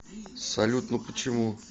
салют ну почему